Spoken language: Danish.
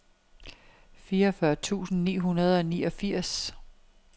fireogfyrre tusind ni hundrede og niogfirs